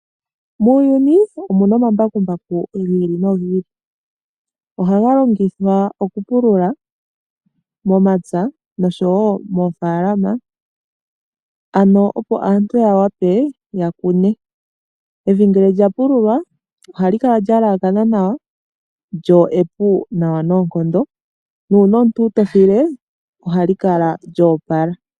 Muuyuni omuna omambakumbaku gii ili nogi ili ohaga longithwa okupulula momapya nosho woo mofaalama ano opo aantu yawape yakune. Evi ngele lyapululwa oha li kala lya yelekana nawa lyo epu nawa noonkondo na una omuntu taafile oha li kala lyopala.